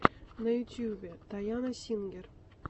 на ютубе тайана сингер